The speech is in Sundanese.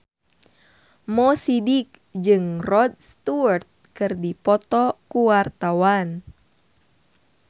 Mo Sidik jeung Rod Stewart keur dipoto ku wartawan